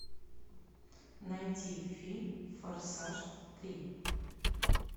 найти фильм форсаж три